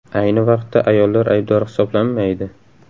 Ayni vaqtda ayollar aybdor hisoblanmaydi.